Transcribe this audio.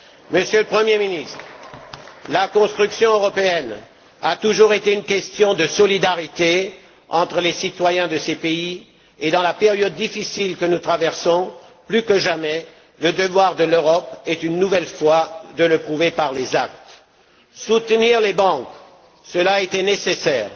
Monsieur le Premier ministre, la construction européenne a toujours été une question de solidarité entre les citoyens de ses pays, et dans la période difficile que nous traversons, plus que jamais, le devoir de l'Europe est une nouvelle fois de le prouver par les actes. Soutenir les banques, cela a été nécessaire,